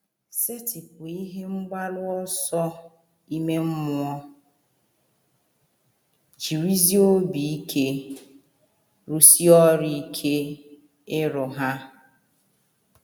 Setịpụ ihe mgbaru ọsọ ime mmụọ, jirizie obi ike rụsie ọrụ ike iru ha.